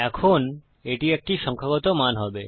এখন এটি একটি সংখ্যাগত মান হবে